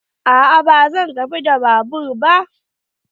A'a ba zan tafi da babur ba.